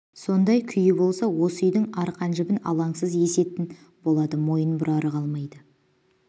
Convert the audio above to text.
сондай күйі болса осы үйдің арқан-жібін алаңсыз есетін болады мойын бұрары қалмайды